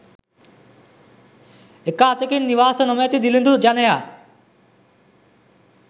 එක අතකින් නිවාස නොමැති දිළිඳු ජනයා